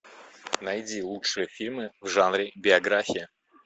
найди лучшие фильмы в жанре биография